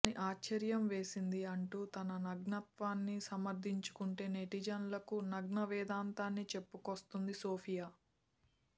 అని ఆశ్చర్యం వేసింది అంటూ తన నగ్నత్వాన్ని సమర్ధించుకుంటే నెటిజన్లకు నగ్నవేదాంతాన్ని చెప్పుకొస్తోంది సోఫియా